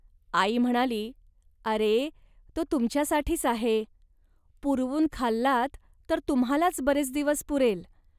आई म्हणाली, "अरे, तो तुमच्यासाठीच आहे. पुरवून खाल्लात, तर तुम्हांलाच बरेच दिवस पुरेल